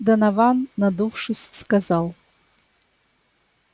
донован надувшись сказал